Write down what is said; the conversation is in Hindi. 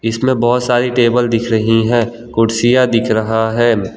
इसमें बहुत सारी टेबल दिख रही हैं कुर्सियां दिख रहा है।